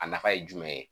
A nafa ye jumɛn ye